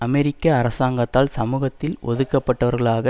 அமெரிக்க அரசாங்கத்தால் சமூகத்தில் ஒதுக்கப்பட்டவர்களாக